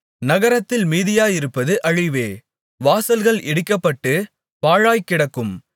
நகரத்தில் மீதியாயிருப்பது அழிவே வாசல்கள் இடிக்கப்பட்டுப் பாழாய்க் கிடக்கும்